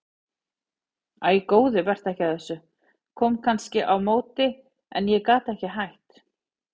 Æ góði vertu ekki að þessu, kom kannski á móti en ég gat ekki hætt